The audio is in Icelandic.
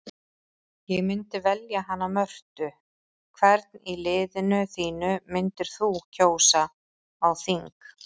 Ég myndi velja hana Mörtu Hvern í liðinu þínu myndir þú kjósa á þing?